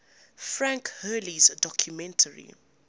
frank hurley's documentary